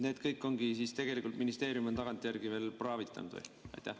Need kõik ongi tegelikult ministeerium tagantjärele praavitanud või?